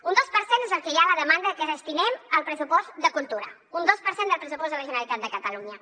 un dos per cent és el que hi ha a la demanda que destinem al pressupost de cultura un dos per cent del pressupost de la generalitat de catalunya